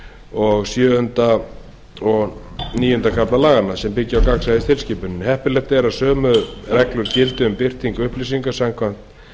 og sjöunda til níunda kafla laganna sem byggja á gagnsæistilskipuninni heppilegt er að sömu reglur gildi um birtingu upplýsinga samkvæmt